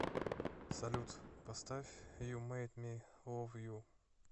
салют поставь ю мэйд ми лав ю